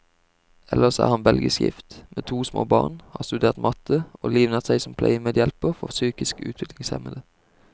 Ellers er han belgisk gift, med to små barn, har studert matte, og livnært seg som pleiemedhjelper for psykisk utviklingshemmede.